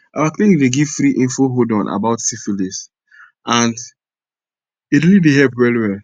our clinic dey give free info hold on about syphilis and e really dey help well well